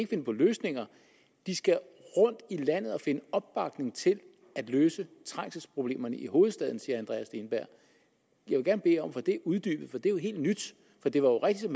finde på løsninger de skal rundt i landet og finde opbakning til at løse trængselsproblemerne i hovedstaden siger herre andreas steenberg jeg vil gerne bede om at få det uddybet for det er jo helt nyt for det er rigtigt